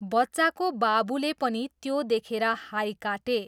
बच्चाको बाबुले पनि त्यो देखेर हाइ काटे।